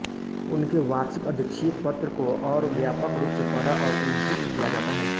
उनके वार्षिक अध्यक्षीय पत्र को और व्यापक रूप से पढ़ा और उद्धृत किया जाता है